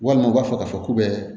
Walima u b'a fɔ k'a fɔ k'u bɛ